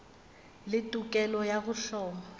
le tokelo ya go hloma